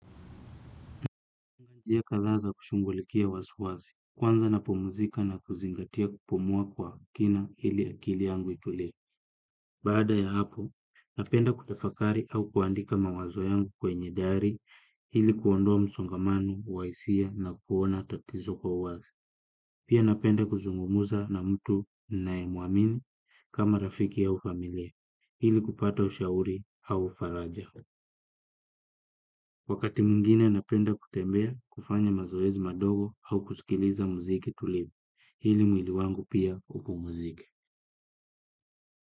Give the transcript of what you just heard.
Njia kadhaa za kushughulikia wasiwasi, kwanza napumzika na kuzingatia kupumua kwa kina ili akili yangu itule. Baada ya hapo, napenda kutafakari au kuandika mawazo yangu kwenye dari hili kuondoa msongamano, wa hisia na kuona tatizo kwa wazi. Pia napenda kuzungumuza na mtu ninae muamini kama rafiki au familia, ili kupata ushauri au faraja. Wakati mwingine napenda kutembea kufanya mazoezi madogo au kusikiliza muziki tulivu, ili mwili wangu pia upumuzike.